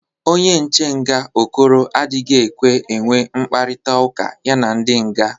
Onye oche nga Okoro adịghị ekwe enwe mkparịtaụka ya na ndị nga.